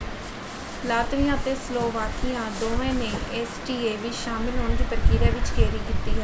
Latvia ਅਤੇ Slovakia ਦੋਵਾਂ ਨੇ ਏਸੀਟੀਏ ਵਿੱਚ ਸ਼ਾਮਲ ਹੋਣ ਦੀ ਪ੍ਰਕਿਰਿਆ ਵਿੱਚ ਦੇਰੀ ਕੀਤੀ ਹੈ।